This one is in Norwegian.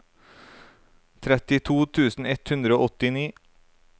trettito tusen ett hundre og åttini